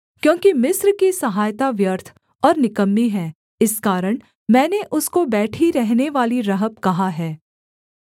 क्योंकि मिस्र की सहायता व्यर्थ और निकम्मी है इस कारण मैंने उसको बैठी रहनेवाली रहब कहा है